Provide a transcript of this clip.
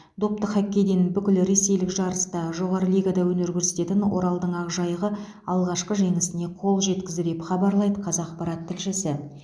допты хоккейден бүкіл ресейлік жарыста жоғары лигада өнер көрсететін оралдың ақжайығы алғашқы жеңісіне қол жеткізді деп хабарлайды қазақпарат тілшісі